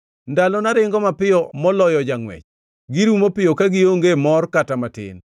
“Ndalona ringo mapiyo moloyo jangʼwech; girumo piyo ka gionge mor kata matin.